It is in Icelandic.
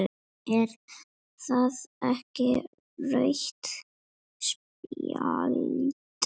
Er það ekki rautt spjald?